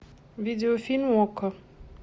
видеофильм окко